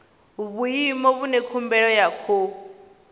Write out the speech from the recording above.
vhuimo vhune khumbelo ya khou